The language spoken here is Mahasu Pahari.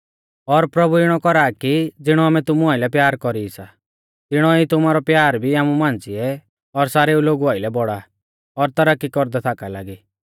और प्रभु इणौ कौरा कि ज़िणौ आमै तुमु आइलै प्यार कौरी सी तिणौ ई तुमारौ प्यार भी आपु मांझ़िऐ और सारेउ लोगु आइलै बौड़ा और तरक्की कौरदै थाका लागी